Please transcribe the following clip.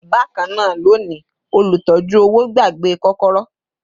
Bakana loni, olutọ̀ju-owo gbàgbé kokoro